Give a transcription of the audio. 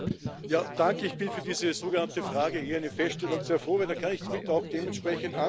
Ich bin über diese sogenannte Frage eher eine Feststellung sehr froh, denn dann kann ich auch dementsprechend antworten.